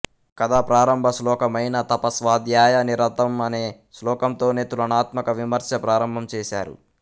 కధాప్రారంభశ్లోకమైన తప స్వాధ్యాయ నిరతం అనే శ్లోకంతోనే తులనాత్మక విమర్స ప్రారంభం చేసారు